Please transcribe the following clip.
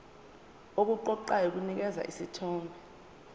okuqoqayo kunikeza isithombe